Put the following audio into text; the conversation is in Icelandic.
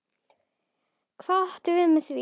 Hvað áttirðu við með því?